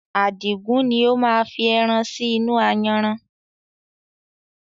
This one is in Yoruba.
Adigun ni ó máa fi ẹran sì inú ayanran